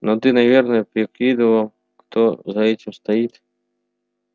но ты наверное прикидывал кто за этим стоит